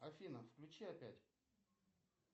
афина включи опять